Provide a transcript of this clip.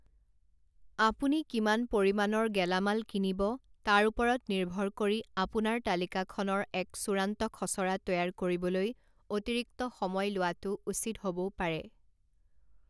আপুনি কিমান পৰিমাণৰ গেলামাল কিনিব তাৰ ওপৰত নিৰ্ভৰ কৰি আপোনাৰ তালিকাখনৰ এক চূড়ান্ত খচৰা তৈয়াৰ কৰিবলৈ অতিৰিক্ত সময় লোৱাটো উচিত হ'বও পাৰে।